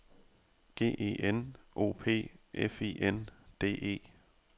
G E N O P F I N D E